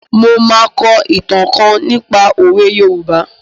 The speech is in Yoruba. Mo máa kọ ìtàn kan nípa òwe Yorùbá.